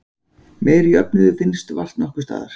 Meiri jöfnuður finnst vart nokkurs staðar.